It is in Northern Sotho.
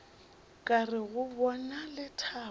ka re go bona lethabo